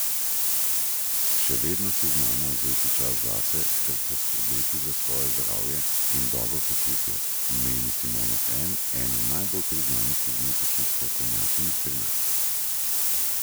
Še vedno si znamo vzeti čas zase ter poskrbeti za svoje zdravje in dobro počutje, meni Simona Hren, ena najbolj priznanih kozmetičnih strokovnjakinj pri nas.